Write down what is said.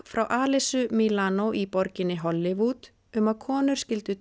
frá Alyssu Milano í borginni Hollywood um að konur skyldu